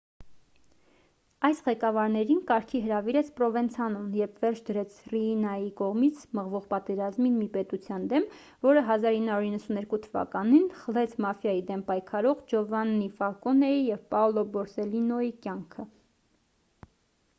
այս ղեկավարներին կարգի հրավիրեց պրովենցանոն երբ վերջ դրեց ռիինայի կողմից մղվող պատերազմին մի պետության դեմ որը 1992 թ խլեց մաֆիայի դեմ պայքարող ջովաննի ֆալկոնեի և պաոլո բորսելլինոյի կյանքը